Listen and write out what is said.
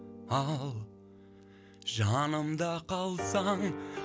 ал жанымда қалсаң